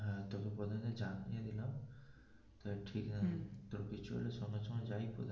হ্যা তোকে প্রথমে জানিয়ে দিলাম তা ঠিক আছে তোর কিছু হলে সঙ্গে সঙ্গে যাই.